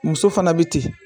Muso fana bɛ ten